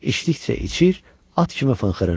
İçdikcə içir, at kimi fınxırırdı.